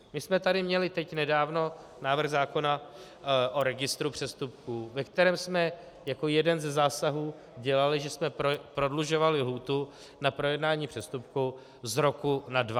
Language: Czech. My jsme tady měli teď nedávno návrh zákona o registru přestupků, ve kterém jsme jako jeden ze zásahů dělali, že jsme prodlužovali lhůtu na projednání přestupku z roku na dva.